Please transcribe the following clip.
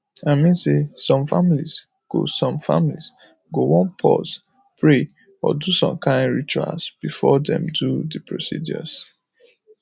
i mean say some families go some families go wan pause pray or do some kain rituals before dem do the procedures